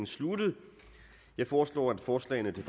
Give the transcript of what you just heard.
sluttet jeg foreslår at forslagene til